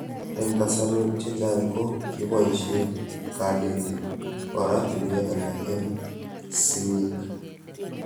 Eng' kasarwek chechang' ko kipoishe kanetik oratinwek alak eng' sig'ik